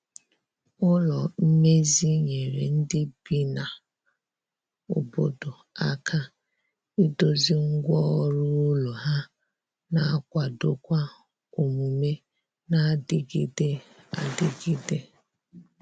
ụlọ mmezi nyere ndi bi na obodo aka ịdozi ngwa ọrụ ụlọ ha na akwado kwa omume na adigide adigide